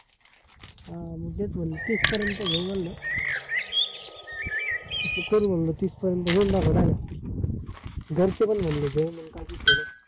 अं तेच म्हंटलं तीस पर्यंत घेऊ म्हटलं असं करू म्हणलं तीस पर्यंत घरचे पण म्हणले, घेऊ म्हणले काय विषय नाय